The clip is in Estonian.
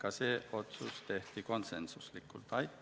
Aitäh!